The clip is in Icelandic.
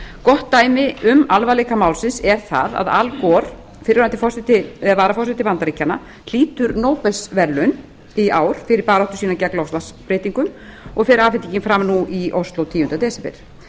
gott dæmi um alvarleika málsins er það að algor fyrrverandi varaforseti bandaríkjanna hlýtur nóbelsverðlaun í ár fyrir baráttu sína gegn loftslagsbreytingum og fer afhendingin fram nú í ósló tíunda desember